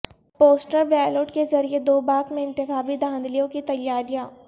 postal ballot کے ذریعہ دوباک میں انتخابی دھاندلیوں کی تیاریاں